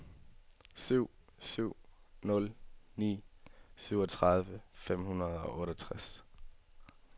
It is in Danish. syv syv nul ni syvogtredive fem hundrede og otteogtres